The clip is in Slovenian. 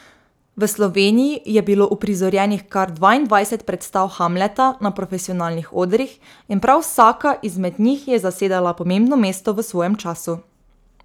V Sloveniji je bilo uprizorjenih kar dvaindvajset predstav Hamleta na profesionalnih odrih in prav vsaka izmed njih je zasedala pomembno mesto v svojem času.